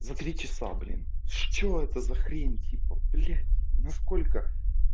за три часа блин что это за хрень типа блять насколько